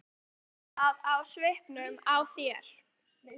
Ég sé það á svipnum á þér.